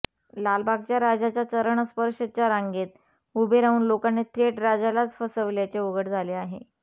लालबागच्या राजाच्या चरणस्पर्शच्या रांगेत उभे राहून लोकांनी थेट राजालाच फसवल्याचे उघड झाले आहे